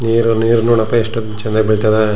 ನೀರು ನೀರು ನೋಡಪ್ಪಾ ಎಷ್ಟೊಂದು ಚನ್ನಾಗಿ ಬಿಳತ್ತದ.